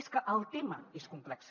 és que el tema és complex